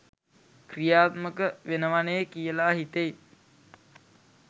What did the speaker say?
ක්‍රියාත්මක වෙනවනේ කියලා හිතෙයි